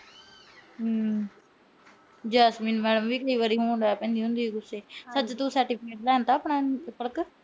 Jasmine madam ਵੀ ਕਈ ਵਾਰ ਹੋਣ ਲੱਗ ਪੈਂਦੀ ਆ ਗੁੱਸੇ। ਸੱਚ ਤੂੰ certificate ਲਿਆਂਦਾ ਆਪਣਾ ਪਲਕ।